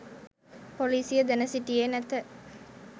පොලිසිය දැන සිටියේ නැත